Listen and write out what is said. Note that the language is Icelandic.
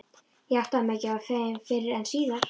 Ég áttaði mig ekki á þeim fyrr en síðar.